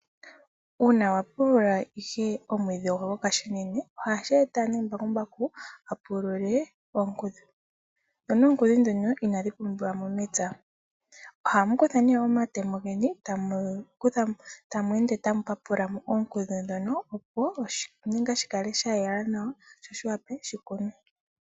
Uuna wapulula ohashi eta nee ohamukutha nee omatemo geni tamu ende tamu papula oonkudhu ndhono opo oshilwa shikale shayela nawa